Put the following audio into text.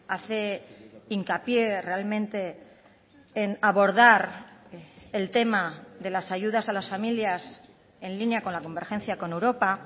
hace hincapié realmente en abordar el tema de las ayudas a las familias en línea con la convergencia con europa